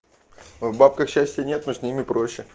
в бабках счастье нет но с ними проще